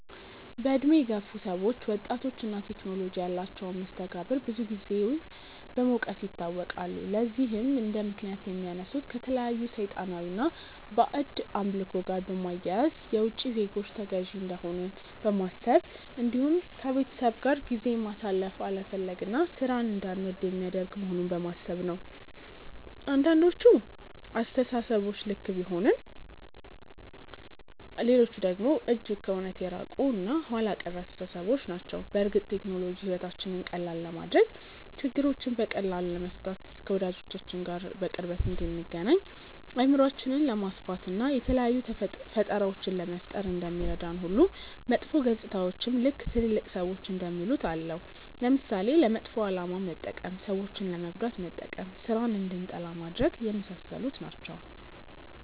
በእድሜ የገፉ ሰዎች ወጣቶች እና ቴክኖሎጂ ያላቸውን መስተጋብር ብዙን ጊዜ በመውቀስ ይታወቃሉ። ለዚህም እንደምክንያት የሚያነሱት ከተለያዩ ሰይጣናዊ እና ባዕድ አምልኮ ጋር በማያያዝ፣ የውቺ ዜጎች ተገዢ እንደሆንን በማሰብ እንዲሁም ከቤተሰብ ጋር ጊዜ ማሳለፍ አለመፈለግ እና ሥራን እንዳንወድ የሚያደርግ መሆኑን በማሰብ ነው። አንዳንዶቹ አስተሳሰቦች ልክ ቢሆኑም ሌሎቹ ደግሞ እጅግ ከእውነት የራቁ እና ኋላ ቀር አስተሳሰቦች ናቸው። በእርግጥ ቴክኖሎጂ ሕይወታችንን ቀላል ለማድረግ፣ ችግሮችን በቀላሉ ለመፍታት፣ ከወዳጆቻችን ጋር በቅርበት እንድንገናኝ፣ አእምሯችንን ለማስፋት፣ እና የተለያዩ ፈጠራዎችን ለመፍጠር እንደሚረዳን ሁሉ መጥፎ ገፅታዎችም ልክ ትልልቅ ሰዎች እንደሚሉት አለው። ለምሳሌ፦ ለመጥፎ አላማ መጠቀም፣ ሰዎችን ለመጉዳት መጠቀም፣ ስራን እንድንጠላ ማድረግ፣ የመሳሰሉት ናቸው።